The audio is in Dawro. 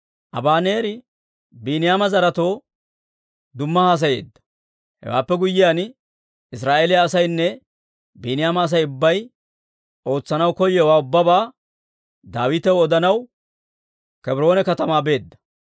Abaneeri Biiniyaama zaretoo dumma haasayeedda; hewaappe guyyiyaan, Israa'eeliyaa asaynne Biiniyaama Asay ubbay ootsanaw koyowaa ubbabaa Daawitaw odanaw Kebroone katamaa beedda.